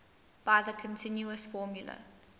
by the continuous formula